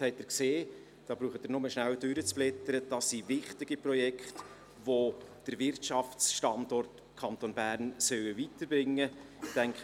Sie brauchen nur rasch durchzublättern, dann sehen Sie, dass es wichtige Projekte sind, die den Wirtschaftsstandort Kanton Bern weiterbringen sollten.